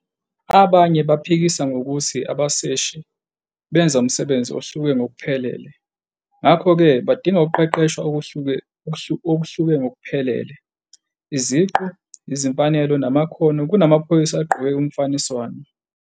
Abanye baphikisa ngokuthi abaseshi benza umsebenzi ohluke ngokuphelele ngakho-ke badinga ukuqeqeshwa okuhluke ngokuphelele, iziqu, izimfanelo, namakhono kunamaphoyisa agqoke umfaniswano.